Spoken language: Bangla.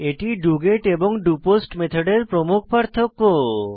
এটি ডগেট এবং ডোপোস্ট মেথডের প্রমুখ পার্থক্য